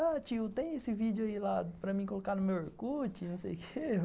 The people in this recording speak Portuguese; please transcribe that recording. Ah, tio, tem esse vídeo aí lá para mim colocar no meu or cu ti, não sei o quê.